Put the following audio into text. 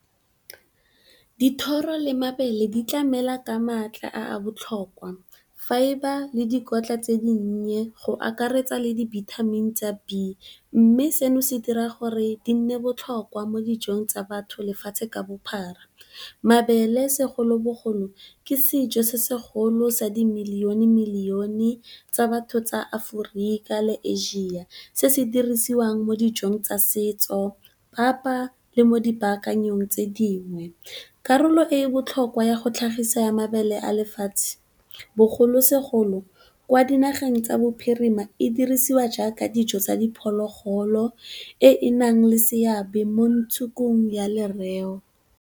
Dithoro le mabele di tlamela ka maatla a a botlhokwa, fibre le dikotla tse dinnye go akaretsa le dibithamini tsa B. Mme, seno se dira gore di nne botlhokwa mo dijong tsa batho lefatshe ka bophara. Mabele segolobogolo ke sejo se segolo sa di million-million tsa batho tsa Aforika le Asia se se dirisiwang mo dijong tsa setso, papa le mo dipaakanyong tse dingwe, karolo e e botlhokwa ya go tlhagisa ya mabele a lefatshe. Bogolosegolo kwa dinageng tsa bophirima e dirisiwa jaaka dijo tsa diphologolo e e nang le seabe mo ntshukung ya lereo.